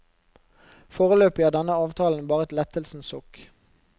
Foreløpig er denne avtalen bare et lettelsens sukk.